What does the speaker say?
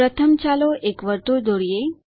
પ્રથમ ચાલો એક વર્તુળ દોરીએ